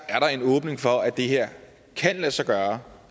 at der er en åbning for at det her kan lade sig gøre